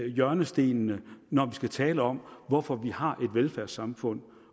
hjørnestenene når vi skal tale om hvorfor vi har et velfærdssamfund